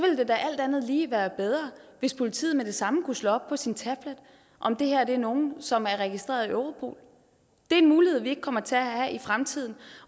ville det da alt andet lige være bedre hvis politiet med det samme kunne slå op på sin tablet om det her er nogen som er registreret i europol det er en mulighed som vi ikke kommer til at have i fremtiden